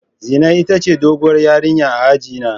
Zinai ita ce doguwar ƴarinya a aji na.